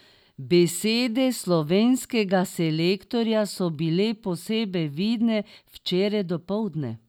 Besede slovenskega selektorja so bile posebej vidne včeraj dopoldne.